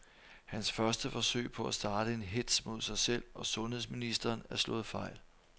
Hans første forsøg på at starte en hetz mod sig selv og sundheds ministeren er slået fejl.